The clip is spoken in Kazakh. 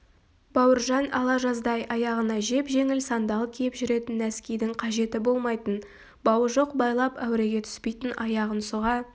бауыржан ала жаздай аяғына жеп-жеңіл сандал киіп жүретін нәскидің қажеті болмайтын бауы жоқ байлап әуреге түспейтін аяғын сұға